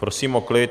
Prosím o klid.